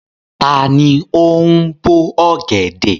Ta ni ó ń bo ọ̀gẹ̀dẹ̀?